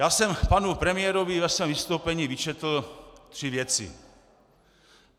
Já jsem panu premiérovi ve svém vystoupení vyčetl tři věci.